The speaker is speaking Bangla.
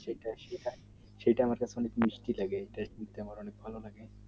সেটাই সেটাই সেটা মাতলাব একটু মুশকিল ভালো থাকে